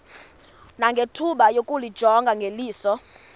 nangethuba lokuyijonga ngeliso